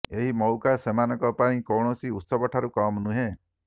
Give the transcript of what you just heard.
ଏହି ମଉକା ସେମାନଙ୍କ ପାଇଁ କୌଣସି ଉତ୍ସବଠାରୁ କମ୍ ନୁହେଁ